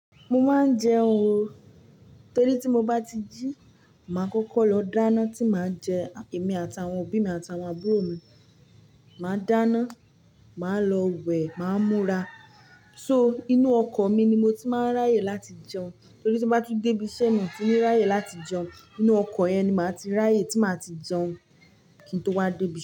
Mo máa ń jẹun o, torí tí mo bá ti jí, màá kọ́kọ́ lọ dáná tí màá jẹ, èmi àtàwọn òbí mi àtàwọn àbúrò mi. Màá dáná, màá lọ wẹ̀, màá múra. So inú ọkọ̀ mi ni mo ti máa ń ráyè láti jẹun, torí tí n bá tún dé bí isẹ́ mi tun ní ráyè láti jẹun, inú ọkọ̀ yẹn ni màá ti ráyè tí màá ti jẹun kí n tó wá débí.